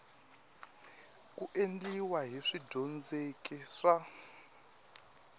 ku endliwa hi swidyondzeki swa